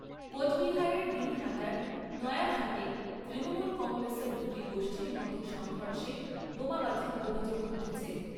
কোচবিহারের দিনহাটার নয়ারহাটে তৃণমূল কংগ্রেসের দু'টি গোষ্ঠীর মধ্যে সংঘর্ষে বোমাবাজির অভিযোগ উঠেছে।